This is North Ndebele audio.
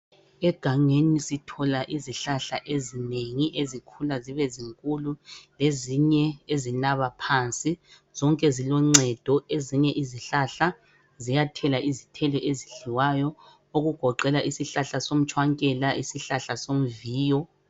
Egangeni sithola izihlahla ezinengi ezikhula zibe zinkulu lezinye ezinaba phansi. Zonke ziloncedo. Ezinye zithela izithelo ezidliwayo, okugoqela isihlahla somtshwankela lesomviyo.